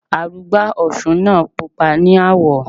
Arugbá òsun náà pupa ní àwọ̀.